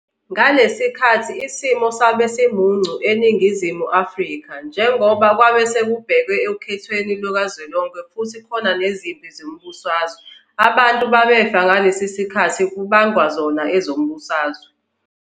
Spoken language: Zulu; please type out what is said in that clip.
Ngalesi sikathi isimo sabe simuncu eNingizimu Afrika njengoba kwabe sekubhekwe okhethweni lukazwelonke futhi kukhona nezimpi zezombusazwe abantu babefa ngalesi sikathi kubangwa zona ezombusazwe.